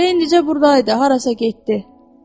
Elə indicə burdaydı, harasa getdi?